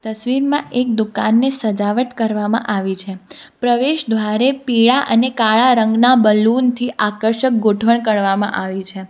તસવીરમાં એક દુકાનની સજાવટ કરવામાં આવી છે પ્રવેશ દ્વારે પીળા અને કાળા રંગના બલૂન થી આકર્ષક ગોઠવણ કળવામાં આવી છે.